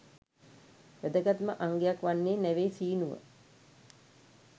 වැදගත්ම අංගයක් වන්නේ නැවේ සීනුව.